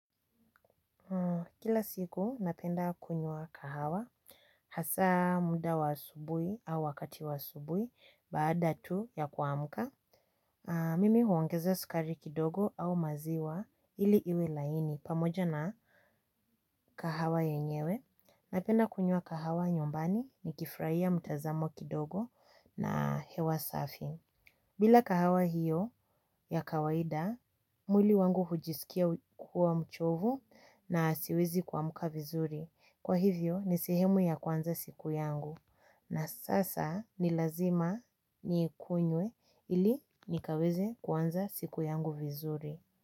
Kila siku napenda kunywa kahawa, hasa muda wa asubuhi au wakati wa asubuhi, baada tu ya kuamka, mimi huongezea skari kidogo au maziwa ili iwe laini pamoja na kahawa yenyewe. Napenda kunywa kahawa nyumbani nikifurahia mtazamo kidogo na hewa safi. Bila kahawa hiyo ya kawaida, mwili wangu hujisikia kuwa mchovu na siwezi kuamka vizuri. Kwa hivyo, ni sehemu ya kuanza siku yangu na sasa ni lazima niikunywe ili nikaweze kuanza siku yangu vizuri.